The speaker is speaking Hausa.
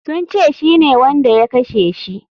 Sun ce shine wanda ya kashe shi.